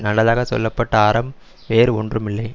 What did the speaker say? நல்லதாகச் சொல்ல பட்ட அறம் வேறு ஒன்றும் இல்லை